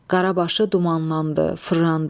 Qarabası dumanlandı, fırlandı.